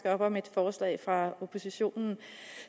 op om et forslag fra oppositionen